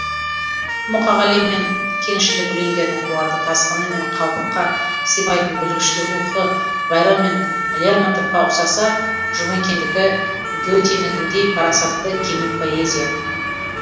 мұқағали мен кеңшілік өлеңдерінің қуатты тасқыны мен қалыпқа сыймайтын бүлікшіл рухы байрон мен лермонтовқа ұқсаса жұмекендікі гетенікіндей парасатты кемел поэзия